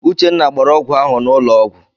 Uchenna gbara ọgwụ ahụ n'ụlọ ọgwụ.